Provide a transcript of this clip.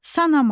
Sanama.